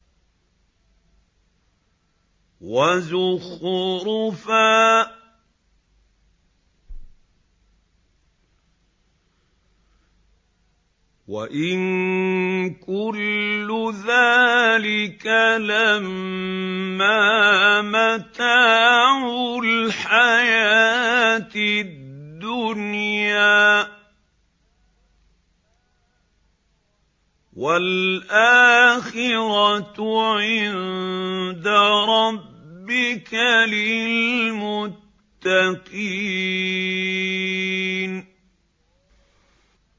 وَزُخْرُفًا ۚ وَإِن كُلُّ ذَٰلِكَ لَمَّا مَتَاعُ الْحَيَاةِ الدُّنْيَا ۚ وَالْآخِرَةُ عِندَ رَبِّكَ لِلْمُتَّقِينَ